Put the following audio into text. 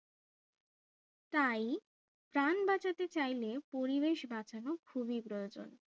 তাই প্রাণ বাঁচাতে চাইলে পরিবেশ বাঁচানো খুবই প্রয়োজন